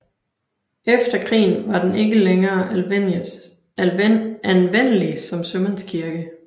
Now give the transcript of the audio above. Efter krigen var den ikke længere anvendelig som sømandskirke